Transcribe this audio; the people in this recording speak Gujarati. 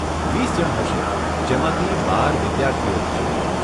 વીસ જણ હશે, જેમાંથી બાર વિદ્યાર્થીઓ હશે.